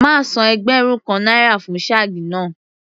Màá san ẹgbẹ̀rún kan náírà fún shag náà.